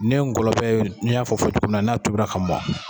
Ni ye ngɔlɔbɛ n y'a fɔ fɔcogo min na, n'a tobira ka mɔn